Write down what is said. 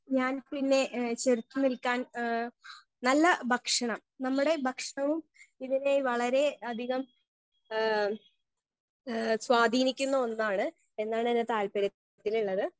Speaker 1 ഞാൻ പിന്നെ ഏ ചെറുത്ത് നിൽക്കാൻ ഏ നല്ല ഭക്ഷണം നമ്മുടെ ഭക്ഷണവും ഇതിനെ വളരെ അധികം ഏ ഏ സ്വാധീനിക്കുന്ന ഒന്നാണ് എന്നാണ് എന്റെ താൽപ്പര്യത്തിലുള്ളത്.